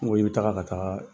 N ko i bɛ taga ka taa